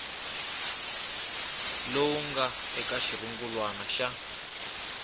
lowu nga eka xirungulwana xa